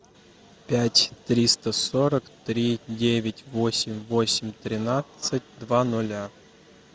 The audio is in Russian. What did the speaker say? пять триста сорок три девять восемь восемь тринадцать два ноля